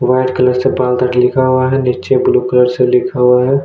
White colour से बाल दाढ़ी लिखा हुआ है नीचे ब्लू कलर से लिखा हुआ है।